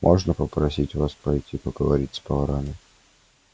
можно попросить вас пойти поговорить с поварами